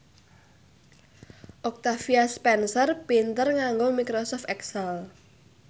Octavia Spencer pinter nganggo microsoft excel